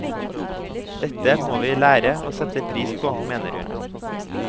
Dette må vi lære og sette pris på, mener hun.